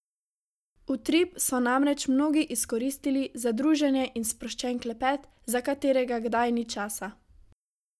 Utrip so namreč mnogi izkoristili za druženje in sproščen klepet, za katerega kdaj ni časa.